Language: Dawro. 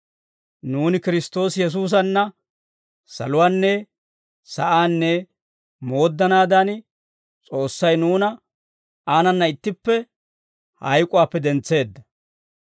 Nuuni Kiristtoosi Yesuusanna saluwaanne sa'aanne mooddanaadan, S'oossay nuuna aanana ittippe hayk'uwaappe dentseedda.